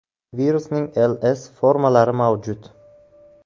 Virusning L, C formalari mavjud.